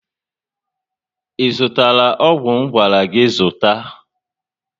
I zụtara ọgwụ ngwara gị zụta?